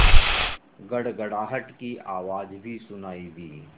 तभी गड़गड़ाहट की आवाज़ भी सुनाई दी